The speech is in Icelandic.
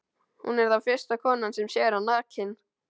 Hún er þá fyrsta konan sem sér hann nakinn.